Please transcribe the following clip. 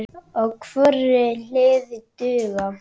á hvorri hlið duga.